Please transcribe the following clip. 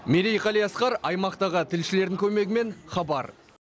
мерей қалиасқар аймақтағы тілшілердің көмегімен хабар